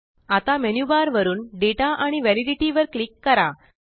आतामेन्यु bar वरुन data आणि validity वर क्लिक करा